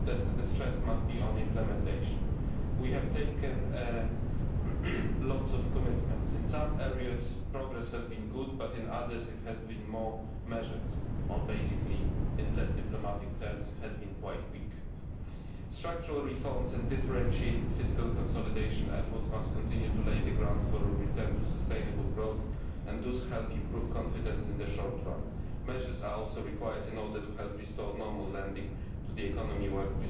Survey that now the stress must be on implementation. We have taken on many commitments. In some areas progress has been good, but in others it has been more measured or basically, in less diplomatic terms it has been quite weak. Structural reforms and differentiated fiscal consolidation efforts must continue to lay the ground for a return to sustainable growth and thus help to improve confidence in the short term. Measures are also required in order to help restore normal lending to